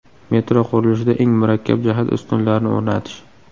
Metro qurilishida eng murakkab jihat ustunlarni o‘rnatish.